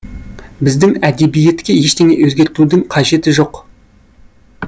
біздің әдебиетке ештеңе өзгертудің қажеті жоқ